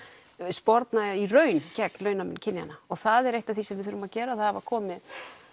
sporna í raun gegn launamun kynjanna og það er eitt af því sem við þurfum að gera það hafa komið